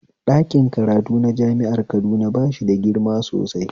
Dakin karatu na jami'ar Kaduna bashi da girma sosai